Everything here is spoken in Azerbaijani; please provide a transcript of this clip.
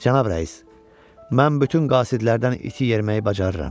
Cənab rəis, mən bütün qasidlərdən iti yeriməyi bacarıram.